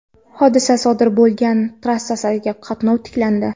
Hodisa sodir bo‘lgan trassadagi qatnov tiklandi.